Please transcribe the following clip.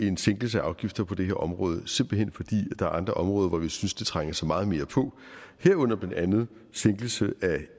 en sænkelse af afgifter på det her område simpelt hen fordi der er andre områder hvor vi synes at det trænger sig meget mere på herunder blandt andet en sænkelse af